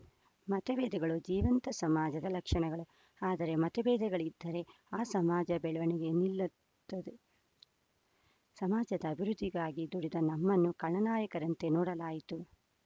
ಮತಭೇದಗಳು ಜೀವಂತ ಸಮಾಜದ ಲಕ್ಷಣಗಳು ಆದರೆ ಮತಭೇದಗಳಿದ್ದರೆ ಆ ಸಮಾಜ ಬೆಳವಣಿಗೆ ನಿಲ್ಲುತ್ತುದೆ ಸಮಾಜದ ಅಭಿವೃದ್ಧಿಗಾಗಿ ದುಡಿದ ನಮ್ಮನ್ನು ಖಳನಾಯಕರಂತೆ ನೋಡಲಾಯಿತು